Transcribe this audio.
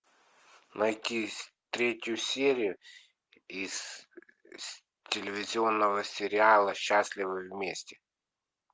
найти третью серию из телевизионного сериала счастливы вместе